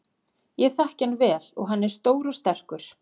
Ég þekki hann vel og hann er stór og sterkur.